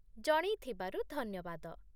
ଜଣେଇଥିବାରୁ ଧନ୍ୟବାଦ ।